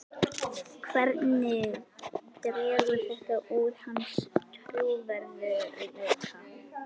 Hvernig dregur þetta úr hans trúverðugleika?